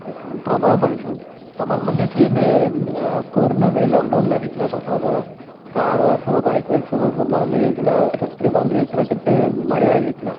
ପ୍ରବଳ pollution ତମର ମନେଅଛି ଏବେ ଏ corona ବେଳେ lock down ଲାଗିଥିଲା ପ୍ରଥମ ଥର car ବାର ସବୁ bike ଫାଇକ ସବୁ ବନ୍ଦ ହେଇଯାଇଥିଲା factory ବନ୍ଦ ହେଇଯାଇଥିଲା କେତେ ବଢିଆ ହେଇଯାଇଥିଲା